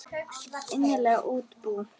Innlend útibú.